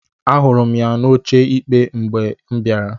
Ahụrụ m ya n'oche ikpe mgbe m bịara.